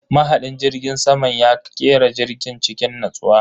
Mahadin jirgin saman ya kera jirgin cikin natsuwa.